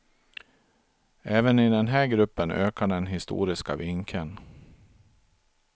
Även i den här gruppen ökar den historiska vinkeln.